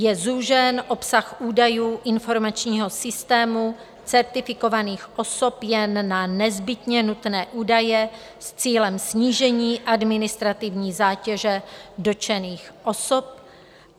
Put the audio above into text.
Je zúžen obsah údajů informačního systému certifikovaných osob jen na nezbytně nutné údaje s cílem snížení administrativní zátěže dotčených osob.